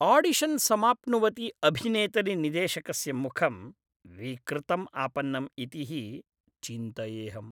Audition समाप्नुवति अभिनेतरि निदेशकस्य मुखं विकृतम् आपन्नम् इति हि चिन्तयेऽहम्।